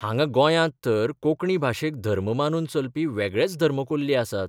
हांगां गोंयांत तर कोंकणी भाशेक धर्म मानून चलपी वेगळेच धर्मकोल्ली आसात.